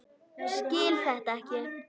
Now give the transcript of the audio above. Skil þetta ekki.